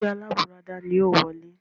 Ẹgbẹ́ alábùradà ni yìí ó wọlé